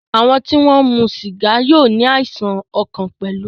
Àwọn tí wọ́n ń mu sìgá yóò ní àìsàn ọkàn pẹ̀lú.